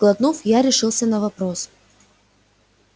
сглотнув я решился на вопрос